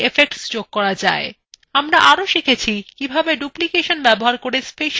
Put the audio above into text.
আমরা আরও শিখেছি কিভাবে ডুপ্লিকেশন ব্যবহার করে special effects তৈরী করা যায়